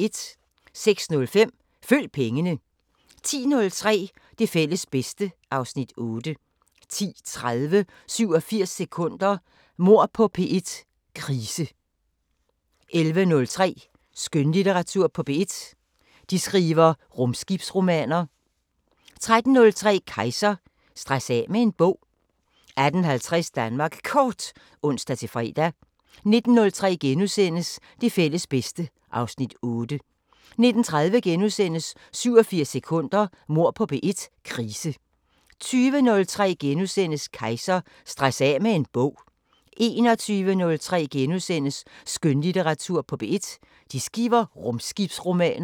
06:05: Følg pengene 10:03: Det fælles bedste (Afs. 8) 10:30: 87 sekunder – Mord på P1: Krise 11:03: Skønlitteratur på P1: De skriver rumskibsromaner 13:03: Kejser: Stress af med en bog 18:50: Danmark Kort (ons-fre) 19:03: Det fælles bedste (Afs. 8)* 19:30: 87 sekunder – Mord på P1: Krise * 20:03: Kejser: Stress af med en bog * 21:03: Skønlitteratur på P1: De skriver rumskibsromaner *